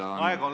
Aeg on läbi!